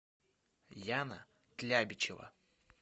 яна тлябичева